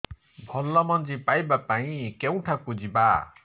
ଭଲ ମଞ୍ଜି ପାଇବା ପାଇଁ କେଉଁଠାକୁ ଯିବା